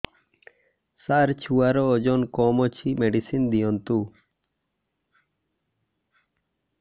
ସାର ଛୁଆର ଓଜନ କମ ଅଛି ମେଡିସିନ ଦିଅନ୍ତୁ